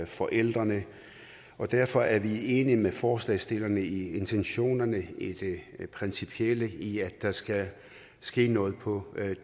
forældrene og derfor er vi enige med forslagsstillerne i intentionerne i det principielle i at der skal ske noget på